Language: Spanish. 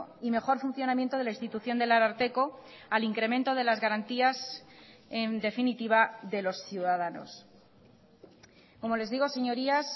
y mejor funcionamiento de la institución del ararteko al incremento de las garantías en definitiva de los ciudadanos como les digo señorías